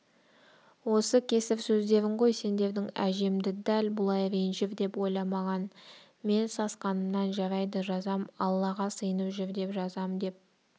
осы кесір сөздерің ғой сендердің әжемді дәл бұлай ренжір деп ойламаған мен сасқанымнан жарайды жазам аллаға сиынып жүр деп жазам деп